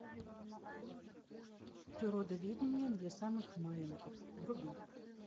природоведение для самых маленьких вруби